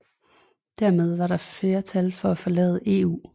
Dermed var der flertal for at forlade EU